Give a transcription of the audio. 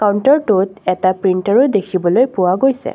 কাউন্টাৰটোত এটা প্ৰিন্তাৰো দেখিবলৈ পোৱা গৈছে।